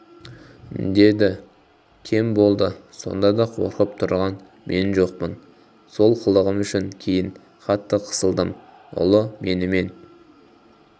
дедікем болды сонда да қорқып тұрған мен жоқпын сол қылығым үшін кейін қатты қысылдым ұлы менімен